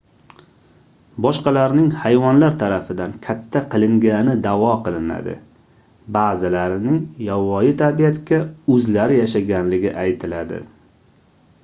boshqalarning hayvonlar tarafidan katta qilingani daʼvo qilinadi baʼzilarining yovvoyi tabiatda oʻzlari yashaganligi aytiladi